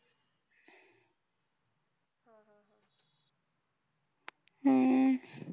हम्म